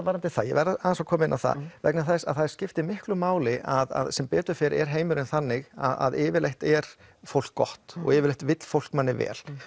varðandi það ég verð aðeins að koma inn á það vegna þess að það skiptir miklu máli að sem betur fer er heimurinn þannig að yfirleitt er fólk gott og yfirleitt vill fólk manni vel